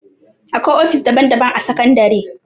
Akwai ofis daban daban a sakandare